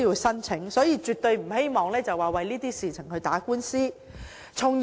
因此，我絕對不希望申索人為此事打官司。